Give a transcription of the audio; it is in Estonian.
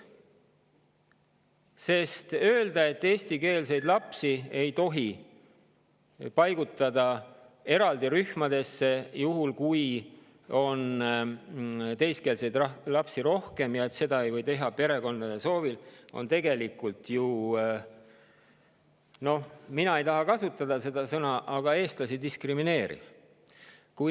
See, et eestikeelseid lapsi ei tohi paigutada eraldi rühmadesse, juhul kui teiskeelseid lapsi on rohkem, ja et seda ei või teha perekondade soovil, on tegelikult ju – ma ei tahaks seda sõna kasutada – eestlasi diskrimineeriv.